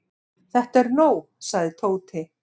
Þetta er nóg sagði Tóti.